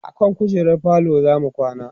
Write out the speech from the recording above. akan kujerar falo zamu kwana